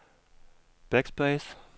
backspace